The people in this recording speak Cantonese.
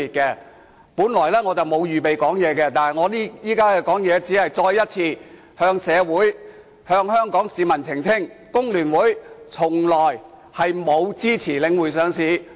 我本來沒有打算發言，我現在發言只是希望再次向社會和香港市民澄清，工聯會從來沒有支持領匯上市。